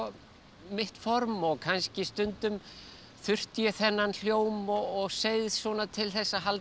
mitt form og kannski stundum þurfti ég þennan hljóm og seið svona til þess að halda